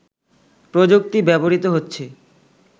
প্রযুক্তি ব্যবহৃত হচ্ছে